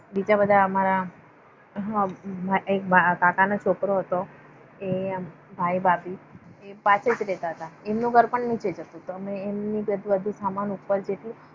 બીજા બધા અમારા એક કાકા નો છોકરો હતો. આ ભાઈ ભાભી પાસેજ રહેતા. અમનું ઘર પર નીચેજ હતું. એમનો સમાન ઉપર